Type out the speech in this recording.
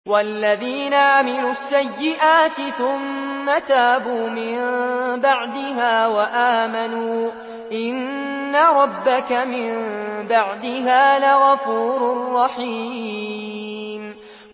وَالَّذِينَ عَمِلُوا السَّيِّئَاتِ ثُمَّ تَابُوا مِن بَعْدِهَا وَآمَنُوا إِنَّ رَبَّكَ مِن بَعْدِهَا لَغَفُورٌ رَّحِيمٌ